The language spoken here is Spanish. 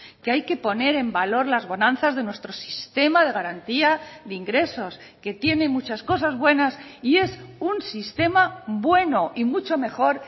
que hay que poner en valor las bonanzas de nuestro sistema de garantía de ingresos que tiene muchas cosas buenas y es un sistema bueno y mucho mejor